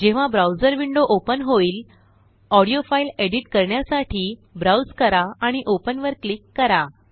जेव्हा browser window open होईलऑडिओ file edit करण्यासाठी ब्राउज करा आणि ओपन वर क्लिक करा